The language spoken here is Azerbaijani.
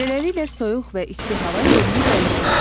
Beləliklə, soyuq və isti hava yerini dəyişir.